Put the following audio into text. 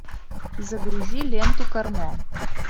загрузи ленту кармо